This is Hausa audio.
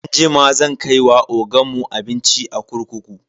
Anjima zan kai wa ogan mu abinci a kurkuku.